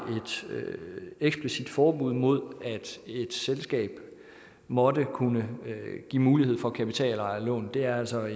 eksplicit forbud mod at et selskab måtte kunne give mulighed for kapitalejerlån det er altså